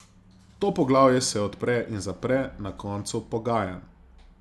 To poglavje se odpre in zapre na koncu pogajanj.